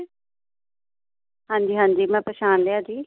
ਹਾਂ ਜੀ, ਮੈਂ ਪਛਾਣ ਲਿਆ ਜੀ